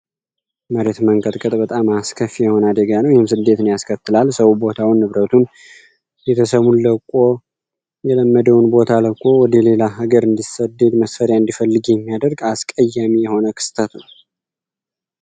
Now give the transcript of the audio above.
የመሬት መንቀጥቀጥ እጅግ በጣም አስከፊ የሆነ አደጋ ነው። ትልቅ ችግር ያስከትላል ሰው ቦታውን ንብረቱን ለቆ ወደሌላ ቦታ ለሌላ ሀገር እንዲወጡ እንዲሰደዱ የሚያደርግ አስቀያሚ የሆነ ክስተት ነው።